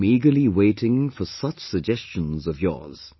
I am eagerly waiting for such suggestions of yours